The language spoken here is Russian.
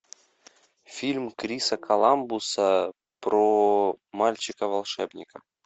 фильм криса коламбуса про мальчика волшебника